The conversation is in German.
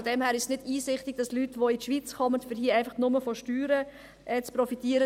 Deshalb ist es nicht einsichtig, dass Leute in die Schweiz kommen, nur um hier von den Steuern zu profitieren.